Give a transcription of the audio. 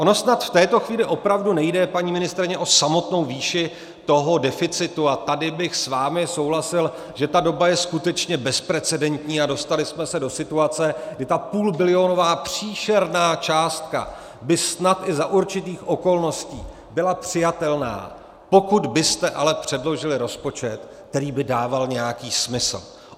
Ono snad v této chvíli opravdu nejde, paní ministryně, o samotnou výši toho deficitu - a tady bych s vámi souhlasil, že ta doba je skutečně bezprecedentní a dostali jsme se do situace, kdy ta půlbilionová příšerná částka by snad i za určitých okolností byla přijatelná -, pokud byste ale předložili rozpočet, který by dával nějaký smysl.